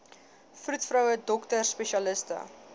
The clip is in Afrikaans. vroedvroue dokters spesialiste